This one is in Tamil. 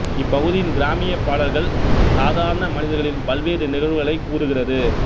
இப்பகுதியின் கிராமிய பாடல்கள் சாதாரண மனிதர்களின் பல்வேறு நிகழ்வுகளைக் கூறுகிறது